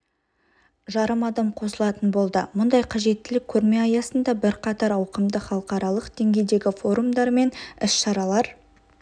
жарым адам қосылатын болды мұндай қажеттілік көрме аясында бірқатар ауқымды халықаралық деңгейдегі форумдар мен іс-шаралар